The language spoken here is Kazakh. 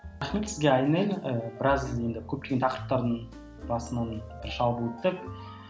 рахмет сізге айнель і біраз енді көптеген тақырыптардың басынан бір шалып өттік